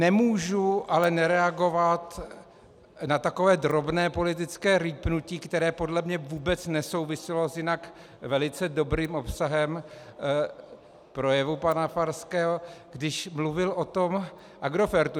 Nemůžu ale nereagovat na takové drobné politické rýpnutí, které podle mě vůbec nesouviselo s jinak velice dobrým obsahem projevu pana Farského, když mluvil o tom Agrofertu.